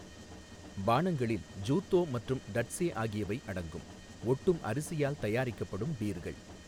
பானங்களில் ஜூத்தோ மற்றும் டட்ஸே ஆகியவை அடங்கும், ஒட்டும் அரிசியால் தயாரிக்கப்படும் பீர்கள்.